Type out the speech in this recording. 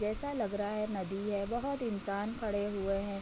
जैसा लग रहा है नदी है। बहोत इंसान खड़े हुए हैं।